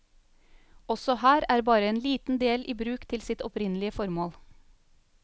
Også her er bare en liten del i bruk til sitt opprinnelige formål.